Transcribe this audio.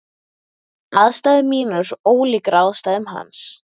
Aðstæður mínar eru svo ólíkar aðstæðum hans.